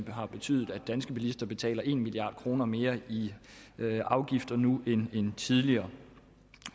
har betydet at danske bilister betaler en milliard kroner mere i afgifter nu end tidligere